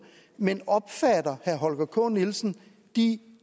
men opfatter herre holger k nielsen de